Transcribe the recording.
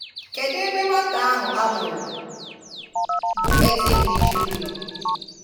Kedụ ebe nwata ahụ amụrụ bụ eze ndi Jew nọọ?